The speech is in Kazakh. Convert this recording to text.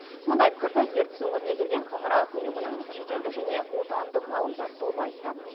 мұндай пікірді ертіс өңіріне келген халықаралық ұйымының шетелдік және отандық ғалымдар тобы айтты